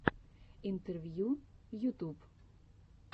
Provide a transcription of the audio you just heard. интервью ютуб